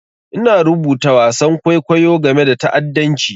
Ina rubuta wasan kwaikwayo game da ta'addanci.